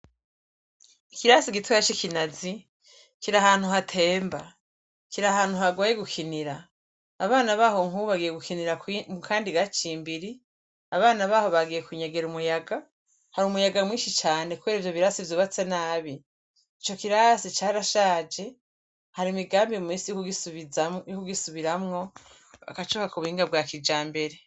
Ikirasi gitoya cikinazi kirahantu hatemba kirahantu hagoye gukinira abana baho nkubu bagiye gukinira mukandi gacimbiri abana baho bagiye kunyegera umuyaga harumuyaga mwinshi cane kubera ivyobirasi vyubatse nabi icokirasi carashaje hari imigambi muminsi yokugisubiramwo bakacubaka ubuhinga bwa kijambere